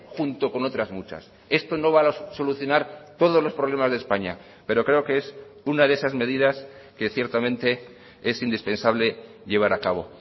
junto con otras muchas esto no va a solucionar todos los problemas de españa pero creo que es una de esas medidas que ciertamente es indispensable llevar a cabo